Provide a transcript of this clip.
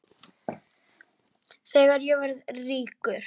Þegar ég verð ríkur.